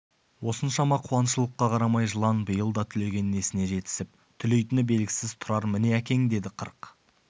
осыншама қуаңшылыққа қарамай жылан биыл да түлеген несіне жетісіп түлейтіні белгісіз тұрар міне әкең деді қырық